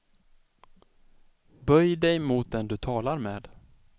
Böj dig mot den du talar med.